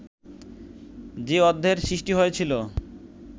যে অধ্যায়ের সৃষ্টি হয়েছিল